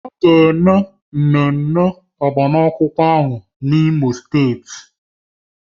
A ga-eme agbamakwụkwọ ahụ n'Imo steeti